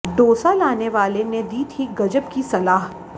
डोसा लाने वाले ने दी थी गजब की सलाह